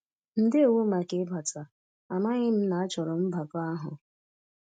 Ndewo màkà ịbata, amaghị m na-achọro m mbakọ àhụ́.